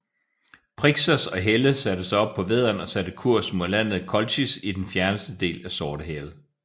Phrixos og Helle satte sig op på vædderen og satte kurs mod landet Kolchis i den fjerneste del af Sortehavet